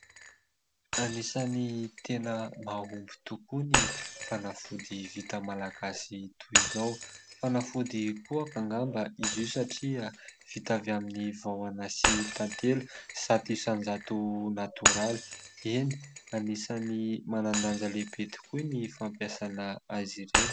Anisan'ny tena mahomby tokoa ny fanafody vita malagasy toy izao. Fanafody kohaka angamba izy io satria vita avy amin'ny vahona sy tantely zato isan-jato natoraly. Eny, anisan'ny manan-danja lehibe tokoa ny fampiasana azy ireo.